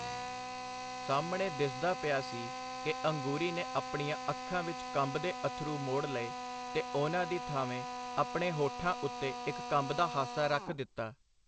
ਸਾਹਮਣੇ ਦਿਸਦਾ ਪਿਆ ਸੀ ਕਿ ਅੰਗੂਰੀ ਨੇ ਆਪਣੀਆਂ ਅੱਖਾਂ ਵਿਚ ਕੰਬਦੇ ਅੱਥਰੂ ਮੋੜ ਲਏ ਤੇ ਉਹਨਾਂ ਦੀ ਥਾਵੇਂ ਆਪਣੇ ਹੋਠਾਂ ਉੱਤੇ ਇਕ ਕੰਬਦਾ ਹਾਸਾ ਰੱਖ ਦਿੱਤਾ.